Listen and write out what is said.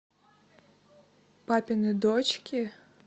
папины дочки